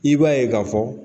I b'a ye k'a fɔ